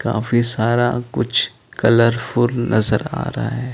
काफी सारा कुछ कलरफुल नज़र आ रहा है ।